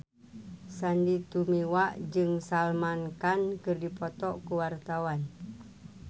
Sandy Tumiwa jeung Salman Khan keur dipoto ku wartawan